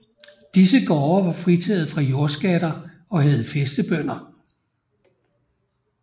Disse gårde var fritaget fra jordskatter og havde fæstebønder